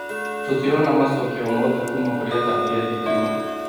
Tũtirona macokio o mothe kũũma kũrĩ atambia a thitima